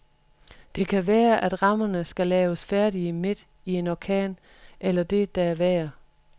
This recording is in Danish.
Det kan være, at rammerne skal laves færdige midt i en orkan eller det, der er værre.